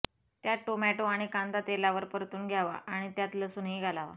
त्यात टोमॅटो आणि कांदा तेलावर परतून घ्यावा आणि त्यात लसूणही घालावा